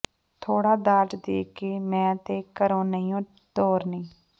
ਥੋੜ੍ਹਾ ਦਾਜ ਦੇ ਕੇ ਮੈਂ ਤੇ ਘਰੋਂ ਨਹੀਓਂ ਟੋਰਨੀ